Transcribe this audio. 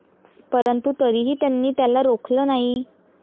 परंतु तरीही त्यांनी त्याला रोखलं नाही